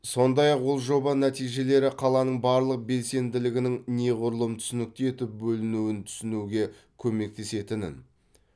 сондай ақ ол жоба нәтижелері қаланың барлық белсенділігінің неғұрлым түсінікті етіп бөлінуін түсінуге көмектесетінін